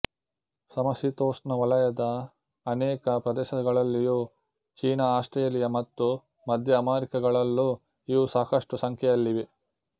ಸಮಶೀತೋಷ್ಣವಲಯದ ಅನೇಕ ಪ್ರದೇಶಗಳಲ್ಲಿಯೂ ಚೀನ ಆಸ್ಟ್ರೇಲಿಯ ಮತ್ತು ಮಧ್ಯ ಅಮೆರಿಕಗಳಲ್ಲೂ ಇವು ಸಾಕಷ್ಟು ಸಂಖ್ಯೆಯಲ್ಲಿವೆ